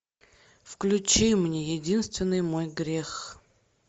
включи мне единственный мой грех